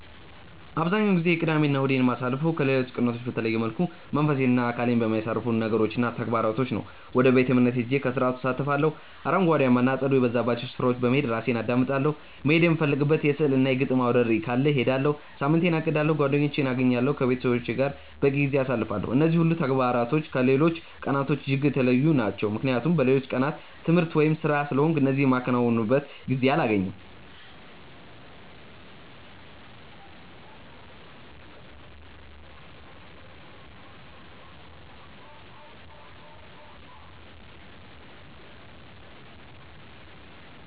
አብዛኛውን ጊዜ ቅዳሜ እና እሁዴን የማሳልፈው ከሌሎች ቀናቶች በተለየ መልኩ መንፈሴን እና አካሌን በሚያሳርፉ ነገሮች እና ተግባራቶች ነው። ወደ ቤተ-እምነት ሄጄ ከስርዓቱ እሳተፋለሁ፤ አረንጓዴያማ እና አጸድ የበዛባቸው ስፍራዎች በመሄድ ራሴን አዳምጣለሁ፤ መሄድ የምፈልግበት የሥዕል እና የግጥም አውደርዕይ ካለ እሄዳለሁ፤ ሳምንቴን አቅዳለሁ፤ ጓደኞቼን አገኛለሁ፤ ከቤተሰቦቼ ጋር በቂ ጊዜ አሳልፋለሁ። እነዚህ ሁሉ ተግባራት ከሌሎች ቀናቶች እጅግ የተለዩ ናቸው ምክንያቱም በሌሎቹ ቀናት ትምህርት ወይም ስራ ስለሆንኩ እነዚህ የማከናውንበት ጊዜ አላገኝም።